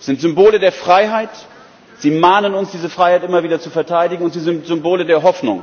sie sind Symbole der Freiheit, sie mahnen uns, diese Freiheit immer wieder zu verteidigen, und sie sind Symbole der Hoffnung